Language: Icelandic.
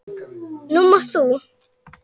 Nú mátt þú.